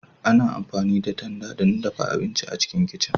Ana amfani da tanda don dafa abinci a cikin kicin